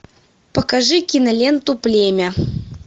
покажи киноленту племя